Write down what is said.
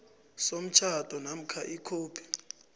somtjhado namkha ikhophi